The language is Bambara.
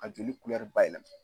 A joli bayɛlɛma